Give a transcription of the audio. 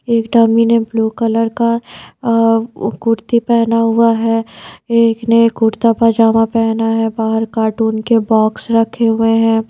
एक डमी ने blue colour का अ कुर्ती पेहना हुआ है एक ने कुर्ता पजामा पेहना है बाहर कार्टून के बॉक्स रखे हुए है।